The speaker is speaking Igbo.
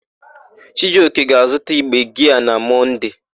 Chijioke ga-azụta igbe giaa na Mọnde.